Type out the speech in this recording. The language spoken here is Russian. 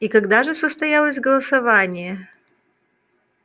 и когда же состоялось голосование